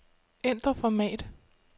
Ændr format.